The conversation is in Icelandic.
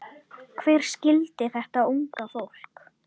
Hver skildi þetta unga fólk?